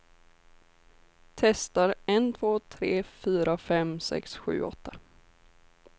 Testar en två tre fyra fem sex sju åtta.